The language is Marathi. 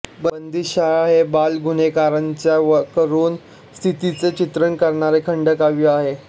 बंदीशाळा हे बालगुन्हेगांरांच्या करुण स्थितीचे चित्रण करणारे खंडकाव्य आहे